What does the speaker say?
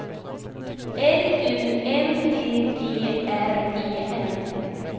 L U N D G R E N